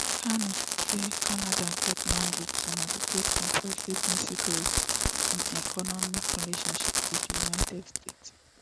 carney say canada get mandate to negotiate comprehensive new security and economic relationship wit di united states